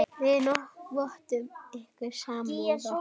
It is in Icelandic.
Við vottum ykkur samúð okkar.